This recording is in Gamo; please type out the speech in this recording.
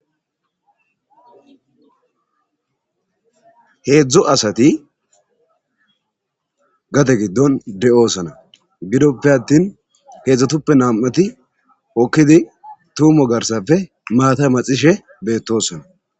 heedzdzu asati gade giddon de'oosana gidoppe attin heedzdzutuppe nam'ati hokkidi tuumo garsafe maata maxishe beettosana